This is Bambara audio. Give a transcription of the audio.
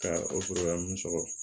Ka o sɔrɔ mun sɔgɔ